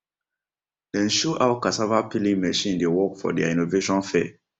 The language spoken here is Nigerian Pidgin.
dem show how cassava peeling machine dey work for deir innovation fair